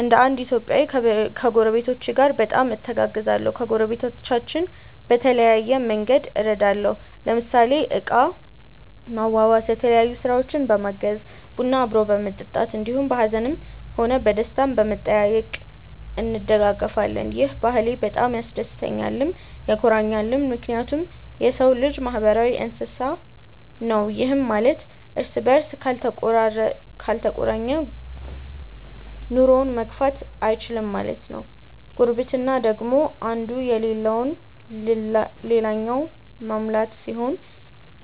እንደ እንድ ኢትዮጵያዊ ከጐረቤቶቼ ጋር በጣም እተጋገዛለሁ። ከጐረቤቶቻችን በተለያየ መንግድ እረዳለሁ ለምሳሌ እቃ ማዋዋስ፣ የተለያዮ ስራውችን በማገዝ፣ ቡና አብሮ በመጠጣት እንዲሁም በሀዝንም ሆነ በደስታም በመጠያዬቅ እንደጋገፋለን። ይህ ባህሌ በጣም ያስደስተኛልም ያኮራኛልም ምክንያቱም የሰው ልጅ ማህበራዊ እንስሳ ነው ይህም ማለት እርስ በርስ ካልተቆራኘ ኑሮውን መግፋት እይችልም ማለት ነው። ጉርብትና ደግሞ እንዱ የለለውን ልላኛው መሙላት ሲሆን